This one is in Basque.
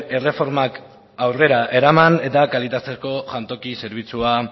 erreformak aurrera eraman eta kalitateko jantoki zerbitzua